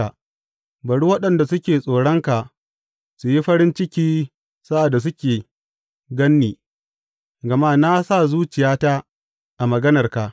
Bari waɗanda suke tsoronka su yi farin ciki sa’ad da suke gan ni, gama na sa zuciyata a maganarka.